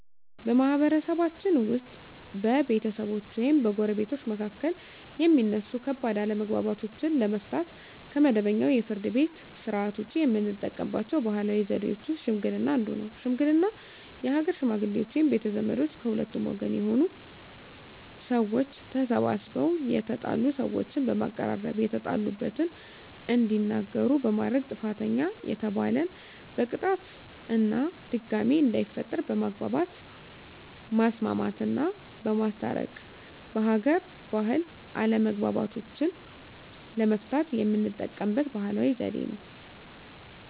በማህበረሰብችን ውስጥ በቤተሰቦች ወይም በጎረቤቶች መካከል የሚነሱ ከባድ አለመግባባቶችን ለመፍታት (ከመደበኛው የፍርድ ቤት ሥርዓት ውጪ) የምንጠቀምባቸው ባህላዊ ዘዴዎች ውስጥ ሽምግልና አንዱ ነው። ሽምግልና የሀገር ሽመግሌዎች ወይም ቤተ ዘመዶች ከሁለቱም ወገን የሆኑ ሰዎች ተሰባስበው የተጣሉ ሰዎችን በማቀራረብ የተጣሉበትን እንዲናገሩ በማድረግ ጥፋተኛ የተባለን በቅጣት እና ድጋሜ እንዳይፈጠር በማግባባት ማስማማትና በማስታረቅ በሀገር ባህል አለመግባባቶችን ለመፍታት የምንጠቀምበት ባህላዊ ዘዴ ነው።